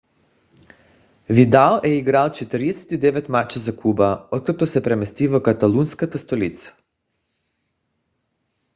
видал е играл 49 мача за клуба откакто се премести в каталунската столица